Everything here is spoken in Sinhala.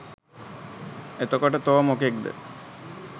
එතකොට තෝ මොකෙක්ද?